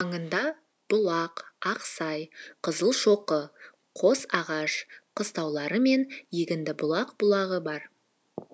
маңында бұлақ ақсай қызылшоқы қосағаш қыстаулары мен егіндібұлақ бұлағы бар